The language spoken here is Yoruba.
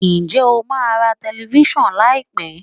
Ǹjẹ́ o máa ra telifíṣàn láì pé?